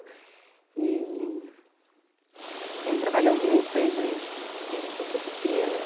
E... Você me trabalhou muito desde desde que eu sou pequena.